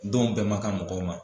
Don bɛɛ man kan mɔgɔw ma